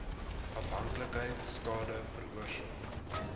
afhanklikheid skade veroorsaak